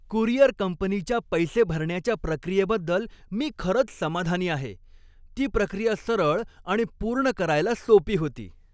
Courier कंपनीच्या पैसे भरण्याच्या प्रक्रियेबद्दल मी खरंच समाधानी आहे. ती प्रक्रिया सरळ आणि पूर्ण करायला सोपी होती.